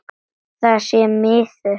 Það sé miður.